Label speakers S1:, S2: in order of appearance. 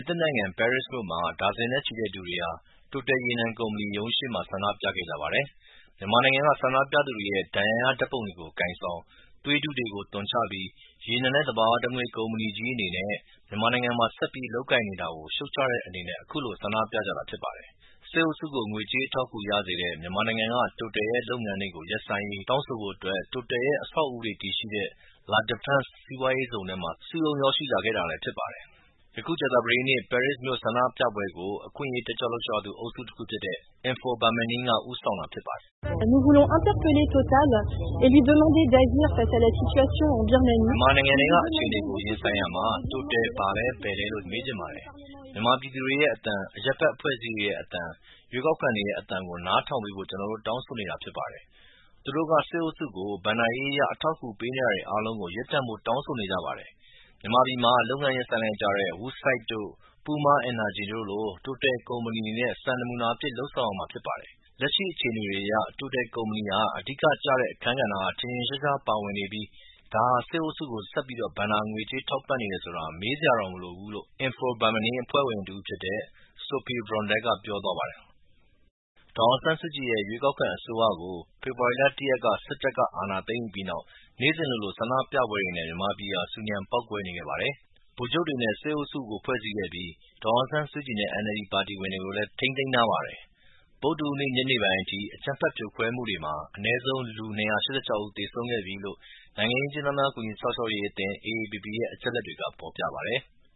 S1: ်နိုင်ငံ ပဲရစ်မြို့မှာ ဒါဇင်နဲ့ချီတဲ့ လူတွေဟာ က Total ရေနံကုမ္မဏီရုံးရှေ့မှာ ဆန္ဒပြခဲ့ကြပါတယ်။ မြန်မာနိုင်ငံက ဆန္ဒပြသူတွေရဲ့ ဒဏ်ရာရ ဓာတ်ပုံတွေကို ကိုင်ဆောင်၊ သွေးတုတွေကို သွန်ချပြီး ရေနံနဲ့သဘာဝဓတ်ငွေ့ ကုမ္မဏီကြီးအနေနဲ့မြန်မာနိုင်ငံမှာ ဆက်ပြီး လုပ်ကိုင်နေတာကို ရှုတ်ချတဲ့အနေနဲ့အခုလို ဆန္ဒပြကြတာဖြစ်ပါတယ်။ စစ်အုပ်စုကို ငွေကြေးအထောက်အကူရစေတဲ့ မြန်မာနိုင်ငံထဲက Total ရဲ့ လုပ်ငန်းတွေကို ရပ်ဆိုင်းရေး တောင်းဆိုဖို့အတွက် Total ရဲ့ အဆောက်အဦးတွေတည်ရှိတဲ့ La Defense စီးပွားရေးဇုံထဲမှာ စုရုံးရောက်ရှိလာခဲ့တာလည်းဖြစ်ပါတယ်။ ကြာသပတေးနေ့ပဲရစ်မြို့ဆန္ဒပြပွဲကို အခွင့်အရေး တက်ကြွလှုပ်ရှားသူ အုပ်စုတခုဖြစ်တဲ့ Info Birmanie က ဦးဆောင်တာဖြစ်ပါတယ်။ "မြန်မာနိုင်ငံထဲက အခြေအနေတွေကို ရင်ဆိုင်ရာမှာ Total ဘာလဲ ဘယ်လဲလို့ ကျနော်တို့မေးချင်ပါတယ်။ မြန်မာပြည်သူတွေရဲ့ အသံ၊ အရပ်ဘက်အဖွဲ့အစည်းတွေရဲ့ အသံ၊ ရွေးကောက်ခံတွေရဲ့ အသံကိုနားထောင်ပေးဖို့ကျနော်တို့တောင်းဆိုနေတာဖြစ်ပါတယ်။ သူတို့က စစ်အုပ်စုကို ဘဏ္ဍာရေးအရ အထောက်အကူပေးနေတာတွေအားလုံးကို ရပ်တန့်ဖို့တောင်းဆိုနေပါတယ်။ မြန်မာပြည်မှာ လုပ်ငန်းရပ်ဆိုင်းလိုက်ကြတဲ့ Woodside တို့၊ Puma Energy တို့လို Total ကုမ္မဏီအနေနဲ့စံပြအဖြစ်လုပ်ဆောင်ရမှာဖြစ်ပါတယ်။ လက်ရှိအခြေအနေတွေအရ Total ကုမ္မဏီဟာ အဓိကကျတဲ့ အခန်းကဏ္ဍက ထင်ထင်ရှားရှား ပါဝင်နေပြီး ဒါဟာ စစ်အုပ်စုကို ဆက်ပြီး ဘဏ္ဍာငွေကြေးထောက်ပံ့နေတယ်ဆိုတာ မေးစရာတောင်မလိုဘူး" လို့Info Birmanie အဖွဲ့ဝင်တဦးဖြစ်တဲ့ Sophie Brondel က ပြောပါတယ်။ ဒေါ်အောင်ဆန်းစုကြည်ရဲ့ ရွေးကောက်ခံအစိုးရကို ဖေဖော်ဝါရီ ၁ ရက်မှာ စစ်တပ်က အာဏာသိမ်းယူပြီးနောက် နေ့စဉ်လိုလို ဆန္ဒပြပွဲတွေနဲ့မြန်မာပြည်ဟာ ဆူညံပေါက်ကွဲနေခဲ့ပါတယ်။ ဗိုလ်ချုပ်တွေနဲ့စစ်အုပ်စုကို ဖွဲ့စည်းခဲ့ပြီး ဒေါ်အောင်ဆန်းစုကြည်နဲ့NLD ပါတီဝင်တွေကို လည်း ထိန်းသိမ်းထားပါတယ်။ ဗုဒ္ဓဟူး နေ့ ညနေပိုင်းအထိ အကြမ်းဖက်ဖြိုခွဲမှုတွေမှာ အနည်းဆုံး လူ ၂၈၆ ဦး သေဆုံးခဲ့ပြီလို့ နိုင်ငံရေး အကျဉ်းသားများ ကူညီစောင့်ရှောက်ရေး အသင်း AAPP ရဲ့ အချက်အလက်တွေက ဖော်ပြပါတယ်။